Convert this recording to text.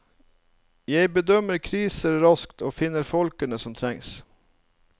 Jeg bedømmer kriser raskt og finner folkene som trengs.